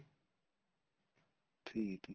ਠੀਕ ਏ